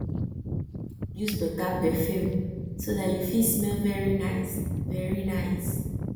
use better perfume so dat you fit smell very nice smell very nice